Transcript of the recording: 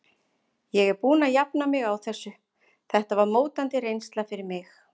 Ég er búinn að jafna mig á þessu, þetta var mótandi reynsla fyrir mig.